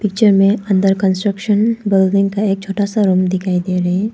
Picture मे under construction building का एक छोटा सा रूम दिखाई दे रहे हैं।